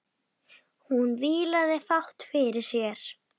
Hún vílaði fátt fyrir sér.